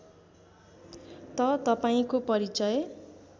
त तपाईँको परिचय